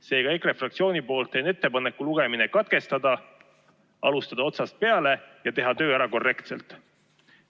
Seega, EKRE fraktsiooni nimel teen ettepaneku lugemine katkestada, alustada otsast peale ja teha töö ära korrektselt.